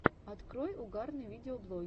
открой угарные видеоблоги